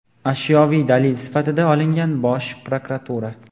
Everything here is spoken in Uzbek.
ashyoviy dalil sifatida olingan – Bosh prokuratura.